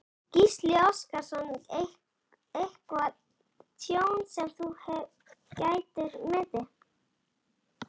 Gísli Óskarsson: Eitthvað tjón sem þú getur metið?